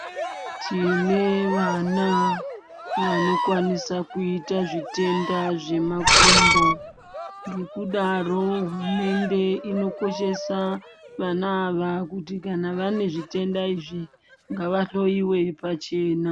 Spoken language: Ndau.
Tine vana vanokwanisa kuita zvitenda zvemakumbo ngekudaro hurumende ino koshesa vana ava kuti kana vane zvitenda izvi ngavahloyiwe pachena.